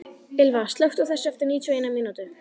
Ylva, slökktu á þessu eftir níutíu og eina mínútur.